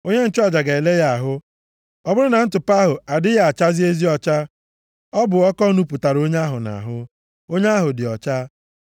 onye nchụaja ga-ele ya ahụ. Ọ bụrụ na ntụpọ ahụ adịghị achazi ezi ọcha, ọ bụ ọkọ nupụtara onye ahụ nʼahụ. Onye ahụ dị ọcha.